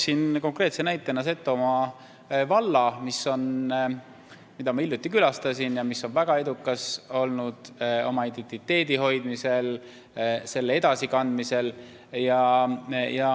Ma toon konkreetse näitena Setomaa valla, mida ma hiljuti külastasin ja mis on olnud väga edukas oma identiteedi hoidmisel ja selle edasikandmisel.